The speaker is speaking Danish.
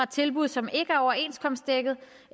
tilbud som ikke er overenskomstdækket